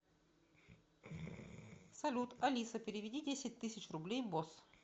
салют алиса переведи десять тысяч рублей босс